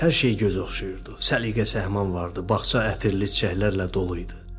Hər şey göz oxşayırdı, səliqə-səhman vardı, bağça ətirli çiçəklərlə doluydu.